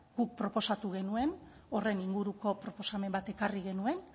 guk proposatu genuen horren inguruko proposamen bat ekarri genuen